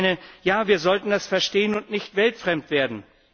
Ich meine, wir sollten das verstehen und nicht weltfremd werden.